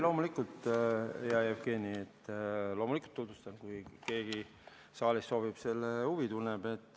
Loomulikult, hea Jevgeni, loomulikult tutvustan, kui keegi saalist huvi tunneb.